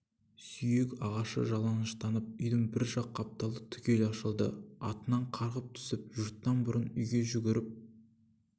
сүйек ағашы жалаңаштанып үйдің бір жақ қапталы түгел ашылды атынан қарғып түсіп жұрттан бұрын үйге жүгіріп